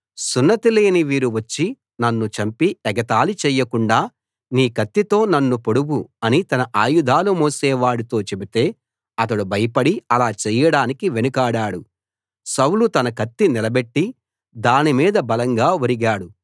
సున్నతి లేని వీరు వచ్చి నన్ను చంపి ఎగతాళి చేయకుండా నీ కత్తితో నన్ను పొడువు అని తన ఆయుధాలు మోసేవాడితో చెబితే అతడు భయపడి అలా చేయడానికి వెనుకాడాడు సౌలు తన కత్తి నిలబెట్టి దానిమీద బలంగా ఒరిగాడు